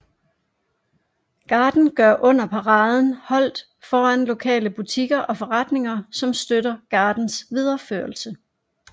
Garden gør under paraden holdt foran lokale butikker og forretninger som støtter gardens videreførelse